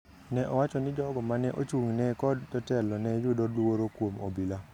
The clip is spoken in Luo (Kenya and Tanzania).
ne owacho ni jogo mane ochung’ negi kod jotelo ne yudo luoro kuom obila.